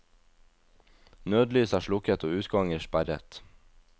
Nødlys er slukket og utganger sperret.